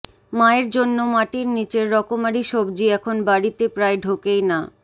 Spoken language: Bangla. মায়ের জন্য মাটির নীচের রকমারি সবজি এখন বাড়িতে প্রায় ঢোকেই না